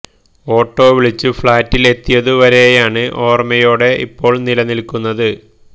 auto വിളിച്ച് ഫ്ളാറ്റില് എത്തിയതു വരെയാണ് ഓര്മയോടെ ഇപ്പോള് നിലനില്ക്കുന്നത്